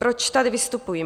Proč tady vystupuji?